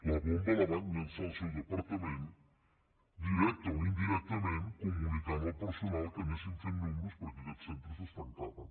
la bomba la va llançar el seu departament directament o indirectament comunicant al personal que anessin fent números perquè aquests centres es tancaven